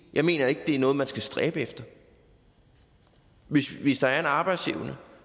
jeg mener ikke det er noget man skal stræbe efter hvis der er en arbejdsevne